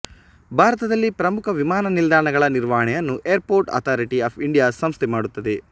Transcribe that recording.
ಭಾರತದಲ್ಲಿ ಪ್ರಮುಖ ವಿಮಾನ ನಿಲ್ದಾಣಗಳ ನಿರ್ವಹಣೆಯನ್ನು ಏರ್ಪೋರ್ಟ್ ಅಥಾರಿಟಿ ಆಫ್ ಇಂಡಿಯಾ ಸಂಸ್ಥೆ ಮಾಡುತ್ತದೆ